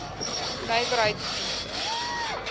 nywerheiddienste